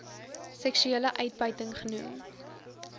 seksuele uitbuiting genoem